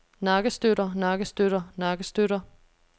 nakkestøtter nakkestøtter nakkestøtter